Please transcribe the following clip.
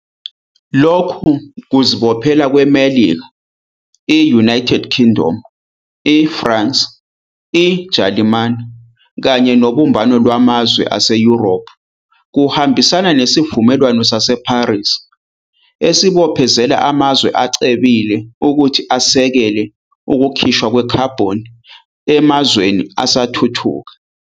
Lokhu kuzibophezela kweMelika, i-United Kingdom, i-France, i-Jalimane kanye noBumbano Lwamazwe aseYurophu kuhambisana neSivumelwano sase-Paris, esibophezela amazwe acebile ukuthi asekele ukukhishwa kwekhabhoni emazweni asathuthuka.